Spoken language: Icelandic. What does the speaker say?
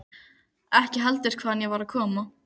Ekki heldur hvaðan ég var að koma.